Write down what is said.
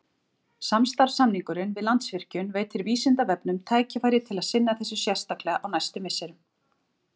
Samstarfssamningurinn við Landsvirkjun veitir Vísindavefnum tækifæri til að sinna þessu sérstaklega á næstu misserum.